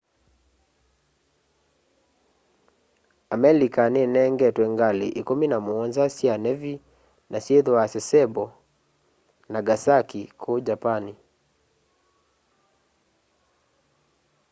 amelika ninengetwe ngali ikumi na muonza sya nevi na syithwaa sasebo nagasaki kuu japani